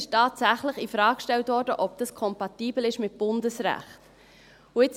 Es wurde tatsächlich infrage gestellt, ob das kompatibel mit Bundesrecht sei.